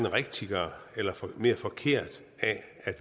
rigtigt eller eller mere forkert af at